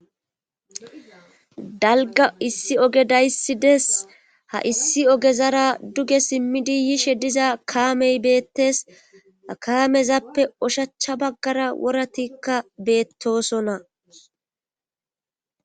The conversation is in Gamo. dalga issi oge dayssi dees ha issi ogezara duge simmidi yishe diza kaamey beettes akamezappe oshacha baggara woratikka beettosonna